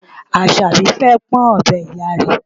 Àṣàbí fẹ́ pọ́n ọ̀bẹ Ìyá rẹ̀.